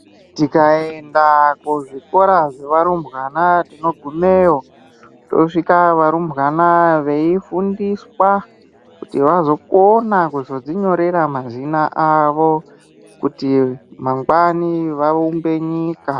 Tikaenda kuzvikora zvevarumbwana, tinogumeyo tosvika varumbwana veifundiswa kuti vazokona kuzodzinyorera mazina avo kuti mangwani vaumbe nyika.